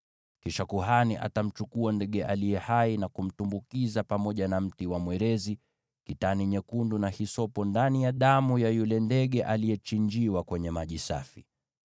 Kisha kuhani atamchukua ndege aliye hai na kumtumbukiza pamoja na mti wa mwerezi, kitani nyekundu na hisopo ndani ya damu ya yule ndege aliyechinjiwa kwenye maji safi.